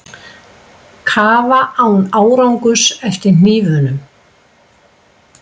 Kafa án árangurs eftir hnífnum